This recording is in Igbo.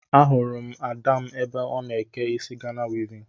Ahụrụ m Ada m ebe ọ n'eke isi Ghana wivin